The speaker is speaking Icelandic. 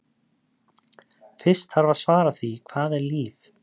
Fyrst þarf að svara því hvað er líf?